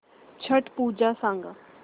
छट पूजा सांग